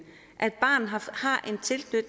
at et barn har